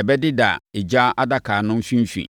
ɛbɛdeda egya adaka no mfimfini.